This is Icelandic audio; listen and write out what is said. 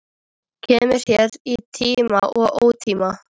Kemur hér í tíma og ótíma.